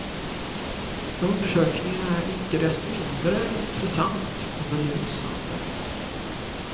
Undersökningen är icke desto mindre intressant och belysande.